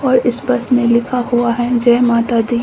और इस बस में लिखा हुआ है जय माता दी।